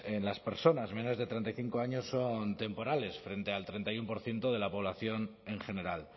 en las personas menores de treinta y cinco años son temporales frente al treinta y uno por ciento de la población en general